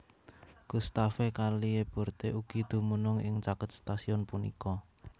Gustave Caillebotte ugi dumunung ing caket stasiun punika